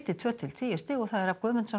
tveggja til tíu stig Hrafn Guðmundsson